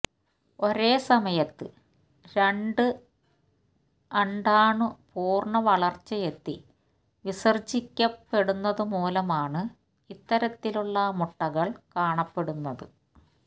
ഒരേ സമയത്ത് രണ്ട് അണ്ഡാ ണു പൂര്ണ വളര്ച്ചയെത്തി വിസര് ജിക്കപ്പെടുന്നതുമൂലമാണ് ഇത്തരത്തിലുള്ള മുട്ടകള് കാണപ്പെടുന്നത്